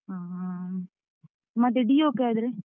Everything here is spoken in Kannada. ಆ, ಮತ್ತೆ Dio ಕ್ಕೆ ಆದ್ರೆ?